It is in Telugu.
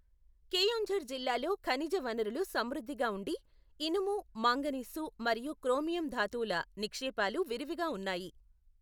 కెయోంఝర్ జిల్లాలో ఖనిజ వనరులు సమృద్ధిగా ఉండి, ఇనుము, మాంగనీసు మరియు క్రోమియం ధాతువుల నిక్షేపాలు విరివిగా ఉన్నాయి.